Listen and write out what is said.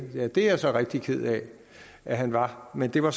ja det er jeg så rigtig ked af at han var men det var